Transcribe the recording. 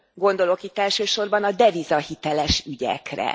Gondolok itt elsősorban a devizahiteles ügyekre.